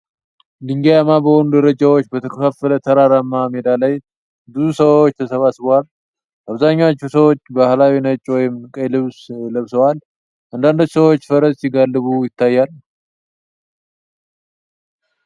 ድንጋያማ በሆኑ ደረጃዎች በተከፋፈለ ተራራማ ሜዳ ላይ ብዙ ሰዎች ተሰብስበዋል። አብዛኞቹ ሰዎች ባህላዊ ነጭ ወይም ቀይ ልብስ ለብሰዋል። አንዳንድ ሰዎች ፈረስ ሲጋልቡ ይታያል።